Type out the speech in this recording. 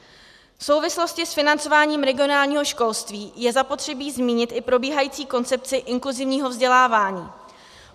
V souvislosti s financováním regionálního školství je zapotřebí zmínit i probíhající koncepci inkluzivního vzdělávání.